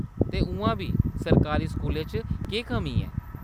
ते उʼआं बी सरकारी स्कूलें च केह्‌‌ कमी ऐ ?